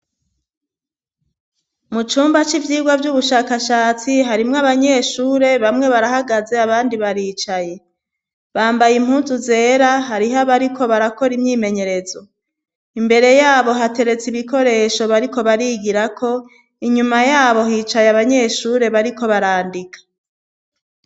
Mu cumba c'ivyirwa vy'ubushakashatsi harimwe abanyeshure bamwe barahagaze abandi baricaye, bambaye impunzu zera hariho abariko barakora imyimenyerezo imbere yabo hateretse ibikoresho bariko barigira ko inyuma yabo hicaye abanyeshure bariko barandika.